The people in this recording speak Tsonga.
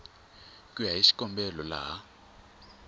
ku ya hi xikombelo laha